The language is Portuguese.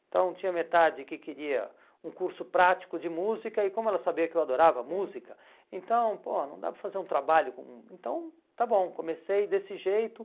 Então tinha metade que queria um curso prático de música e como ela sabia que eu adorava música, hum, então, pô, não dá para fazer um trabalho com... Então, está bom, comecei desse jeito.